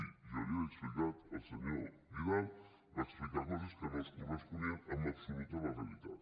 jo ja l’hi he explicat el senyor vidal va explicar coses que no es corresponien en absolut amb la realitat